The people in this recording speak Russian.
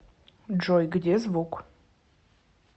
джой где звук